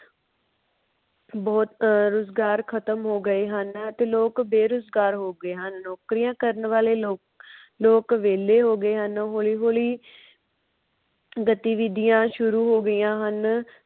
ਬੋਹਤ ਰੁਜਗਾਰ ਖਤਮ ਹੋ ਗਏ ਹਨ ਤੇ ਲੋਕ ਬੇਰੁਜਗਾਰ ਹੋ ਗਏ ਹਨ। ਨੌਕਰੀਆਂ ਕਾਰਨ ਵਾਲੇ ਲੋਕ ਲੋਕ ਵੇਹਲੇ ਹੋ ਗਏ ਹਨ। ਹੋਲੀ-ਹੋਲੀ ਗਤਿਵਿਧਿਆਂ ਸ਼ੁਰੂ ਹੋ ਗਈਆਂ ਹਨ।